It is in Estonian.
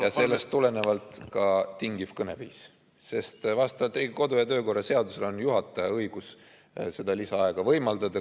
Ja sellest tulenevalt ka tingiv kõneviis, sest vastavalt Riigikogu kodu- ja töökorra seadusele on juhataja õigus seda lisaaega võimaldada.